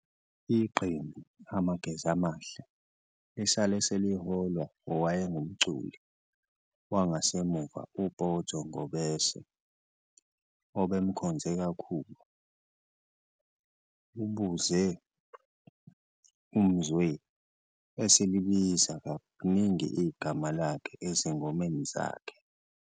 Iqembu amageza amahle lisale seliholwa owayengumculi wangasemuva uPotso ngobese obemkhonze kakhulu, ubuze umzwe elibiza kaningi igama lakhe ezingomeni zakhe.